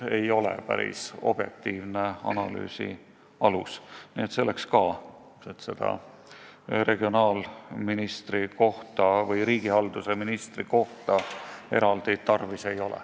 Nii et eraldi regionaalministri või riigihalduse ministri kohta tarvis ei ole.